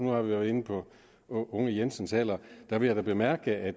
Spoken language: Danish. jo har været inde på med unge jensens alder der vil jeg da bemærke at